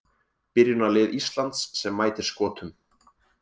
Byrjunarlið Íslands sem mætir Skotum